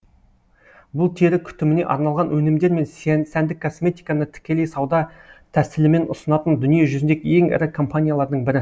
бұл тері күтіміне арналған өнімдер мен сәндік косметиканы тікелей сауда тәсілімен ұсынатын дүние жүзіндегі ең ірі компаниялардың бірі